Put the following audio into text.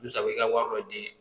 Misali i ka wari dɔ di